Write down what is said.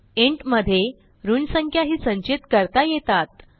int मध्ये ऋण संख्या ही संचित करता येतात